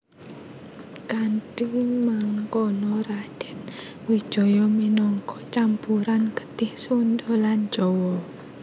Kanthi mangkono Radèn Wijaya minangka campuran getih Sundha lan Jawa